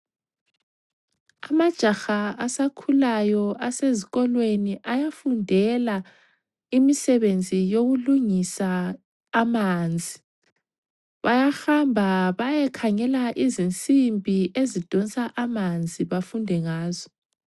Amajaha asakhulayo asezikolweni ayafundela imisebenzi yokulungisa amanzi. Bayahamba bayekhangela izinsimbi ezidonsa amanzi bafunde ngazo.